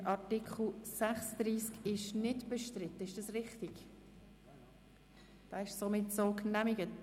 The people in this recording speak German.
Der Artikel 49 wird seitens der Grünen bestritten;